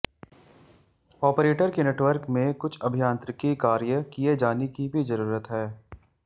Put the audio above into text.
operator के network में कुछ अभियांत्रिकी कार्य किए जाने की भी जरूरत है